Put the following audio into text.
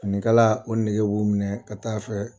Finikala o nɛgɛ b'u minɛ ka taa a fɛ